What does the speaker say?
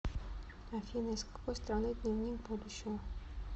афина из какой страны дневник будущего